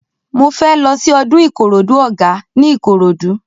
Mo fẹ́ lọ sí ọdún Ìkòròdú Ọ̀gá ní Ìkòròdú.